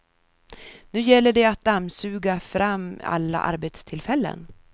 Nu gäller det att dammsuga fram alla arbetstillfällen.